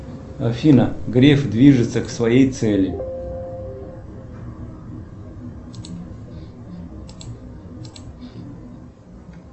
афина греф движется к своей цели